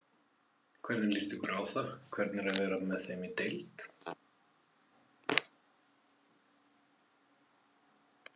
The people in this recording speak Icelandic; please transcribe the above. Hvernig líst ykkur á það og hvernig er að vera með þeim í deild?